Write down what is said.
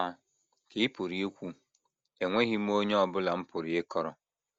Ma, ka ị pụrụ ikwu, enweghị m onye ọ bụla m pụrụ ịkọrọ.